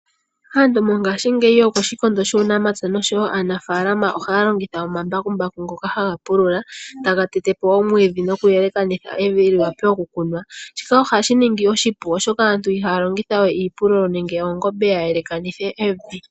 Aantu mongaashingeyi yokoshikondo shunamapya nosho woo shuunimuna ohaya longitha omambakumbaku ngoka haga pulula taga tete po omwiidhi nokuyelekanitha evi li vule oku kunwa. Shika ohashi ningi oshipu oshoka aantu ihaya longitha we iipululo nenge oongombe ya yelekanithe evi.